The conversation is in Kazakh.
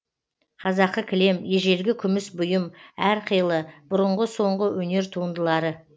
қазақы кілем ежелгі күміс бұйым әрқилы бұрынғы соңғы өнер туындылары